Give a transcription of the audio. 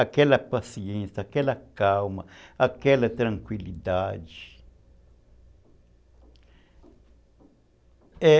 Aquela paciência, aquela calma, aquela tranquilidade.